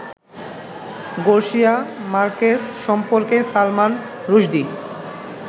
Garcia Marquez সম্পর্কে সালমান রুশদি